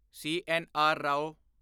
CNR. Rao